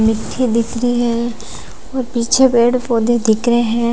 मिट्टी दिख रही है और पीछे पेड़ पौधे दिख रहे हैं।